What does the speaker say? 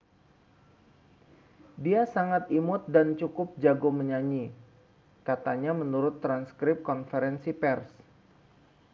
dia sangat imut dan cukup jago menyanyi katanya menurut transkrip konferensi pers